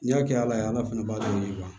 N'i y'a kɛ ala ye ala ala fana b'a dɔn